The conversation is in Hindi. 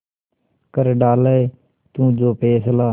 कर डाले तू जो फैसला